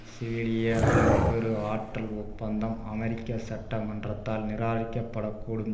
சிவிலிய அணு கரு ஆற்றல் ஒப்பந்தம் அமெரிக்க சட்ட மன்றத்தால் நிராகரிக்கப்படக்கூடும்